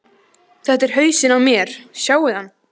Þetta er hausinn á mér, sjáiði hann?